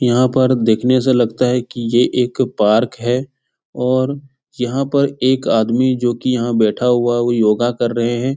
यहाँ पर देखने से लगता है की ये एक पार्क है और यहाँ पर एक आदमी जो कि यहाँ बैठा हुआ है वो योगा कर रहें हैं ।